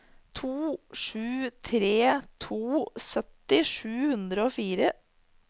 to sju tre to sytti sju hundre og fire